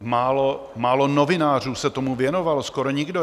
Málo novinářů se tomu věnovalo, skoro nikdo.